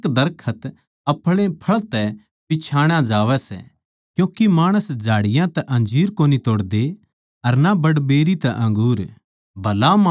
हरेक दरखत अपणे फळ तै पिच्छाणा जावै सै क्यूँके माणस झाड़ियाँ तै अंजीर कोनी तोड़दे अर ना बड़बेरी तै अंगूर